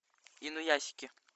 инуясики